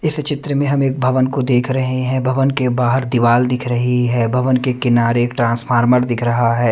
इस चित्र में हम एक भवन को देख रहे हैं भवन के बाहर दीवाल दिख रही है भवन के किनारे एक ट्रांसफार्मर दिख रहा है।